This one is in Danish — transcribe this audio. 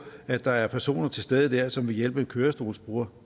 at der er personer til stede der som vil hjælpe en kørestolsbruger